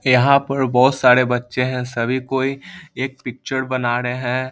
यहाँ पर बहुत सारे बच्चे हैं सभी कोई एक पिक्चर बना रहे हैं।